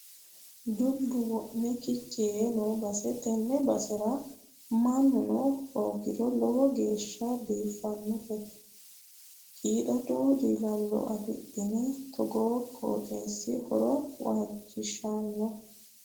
Dubbu wo'me gici yee no base tene basera mannuno hoogiro lowo geeshsha biifanote qiidado dilalo affi'nanni togo qooxxeesira horo waajishano.